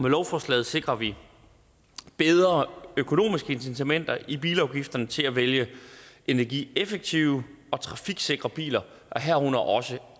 lovforslaget sikrer vi bedre økonomiske incitamenter i bilafgifterne til at vælge energieffektive og trafiksikre biler herunder også